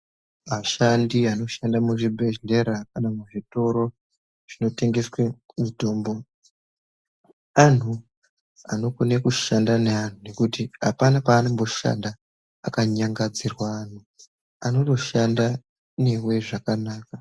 Ashanti anoshanda muzvibhedhlera kana muzvitoro zvinotengeswe mitombo antu anokona kushanda nevantu nekuti apana paanoshanda akanyangadzirwe antu anotoshanda newe zvakanaka.